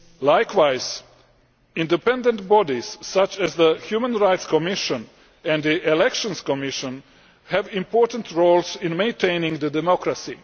Likewise, independent bodies such as the Human Rights Commission and the Elections Commission have important roles in maintaining democracy.